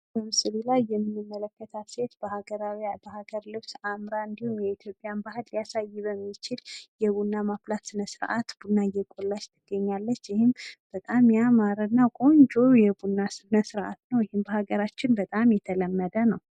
በምስሉ ላይ የምንመለከታት ሴት በሀገር ልብስ አምራና ተውባ የኢትዮጵያን ባህል ሊያሳይ በሚችል የቡና ማፍላት ስነስርዓት ቡና እያፈላች ትገኛለች። ይህም በጣም ያማረና ቆንጆ የቡና ስነስርአት ነው። ይህም በሀገራችን በጣም የተለመደ ነው።